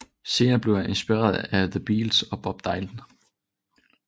Senere blev han inspireret af the Beatles og Bob Dylan